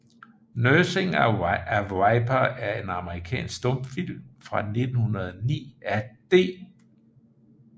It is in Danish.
Nursing a Viper er en amerikansk stumfilm fra 1909 af D